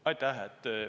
Aitäh!